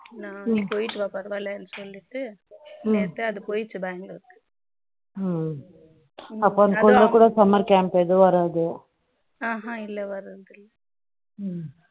நான் நீ போயிட்டு வா பரவால்லன்னு சொல்லிட்டு நேத்து அது போயிடுச்சு பெங்களூர் க்கு அப்போ உன் குழந்தை கூட summer camp கு ஏதும் வராது ஆஹா இல்லை ஏதும் வராது